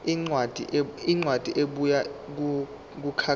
incwadi ebuya kumkhakha